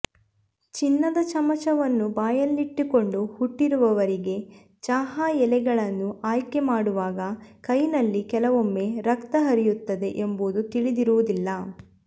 ಚಿನ್ನದ ಚಮಚವನ್ನು ಬಾಯಲ್ಲಿಟ್ಟುಕೊಂಡು ಹುಟ್ಟಿರುವವರಿಗೆ ಚಹಾ ಎಲೆಗಳನ್ನು ಆಯ್ಕೆ ಮಾಡುವಾಗ ಕೈ ನಲ್ಲಿ ಕೆಲವೊಮ್ಮೆ ರಕ್ತ ಹರಿಯುತ್ತದೆ ಎಂಬುದು ತಿಳಿದಿರುವುದಿಲ್ಲ